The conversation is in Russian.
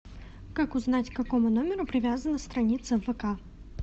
как узнать к какому номеру привязана страница в вк